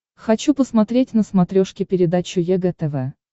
хочу посмотреть на смотрешке передачу егэ тв